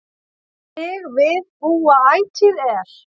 Þig við búa ætíð er